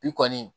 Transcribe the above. I kɔni